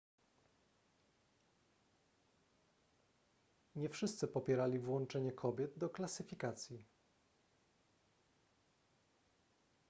nie wszyscy popierali włączenie kobiet do klasyfikacji